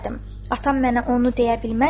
Atam mənə onu deyə bilməzmi?"